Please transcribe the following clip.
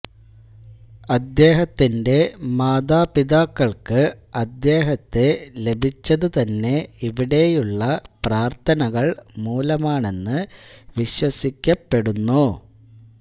അദ്ദേഹത്തിന്റെ മാതാപിതാക്കൾക്ക് അദ്ദേഹത്തെ ലഭിച്ചതുതന്നെ ഇവിടെയുള്ള പ്രാർത്ഥനകൾ മൂലമാണെന്ന് വിശ്വസിയ്ക്കപ്പെടുന്നു